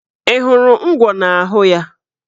Ị hụrụ ngwọ n'ahụ ya!